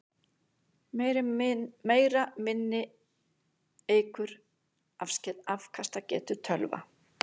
Meira minni eykur afkastagetu tölva.